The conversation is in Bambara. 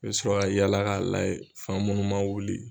I bɛ sɔrɔ ka yala ka layɛ fan munnu man wuli.